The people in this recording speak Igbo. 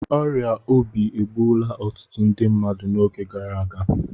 Ọrịa obi egbuola ọtụtụ ndị mmadụ n'oge gara aga